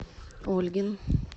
ольгин